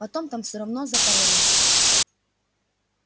потом там всё равно запаролено